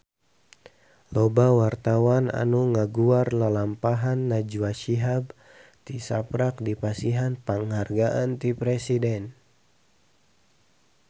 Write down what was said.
Loba wartawan anu ngaguar lalampahan Najwa Shihab tisaprak dipasihan panghargaan ti Presiden